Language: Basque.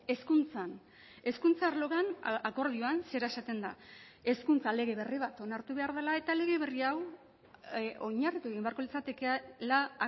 hezkuntzan hezkuntza arloan akordioan zera esaten da hezkuntza lege berri bat onartu behar dela eta lege berria hau oinarritu egin beharko litzatekela